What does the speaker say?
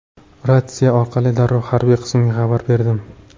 Ratsiya orqali darrov harbiy qismga xabar berdim.